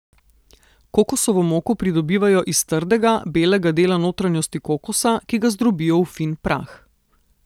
Kokosovo moko pridobivajo iz trdega, belega dela notranjosti kokosa, ki ga zdrobijo v fin prah.